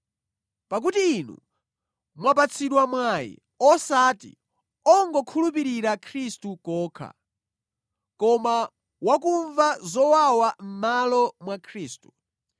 Pakuti inu mwapatsidwa mwayi osati ongokhulupirira Khristu kokha, koma wakumva zowawa mʼmalo mwa Khristu.